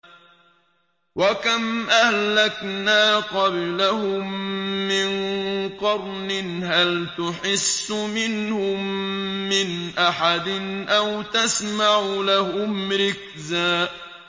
وَكَمْ أَهْلَكْنَا قَبْلَهُم مِّن قَرْنٍ هَلْ تُحِسُّ مِنْهُم مِّنْ أَحَدٍ أَوْ تَسْمَعُ لَهُمْ رِكْزًا